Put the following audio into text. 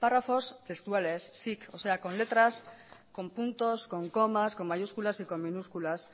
párrafos textuales sic o sea con letras con puntos con comas con mayúsculas y con minúsculas